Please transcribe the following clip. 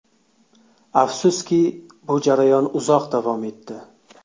Afsuski, bu jarayon uzoq davom etdi”.